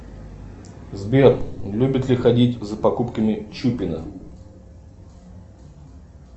сбер любит ли ходить за покупками чупина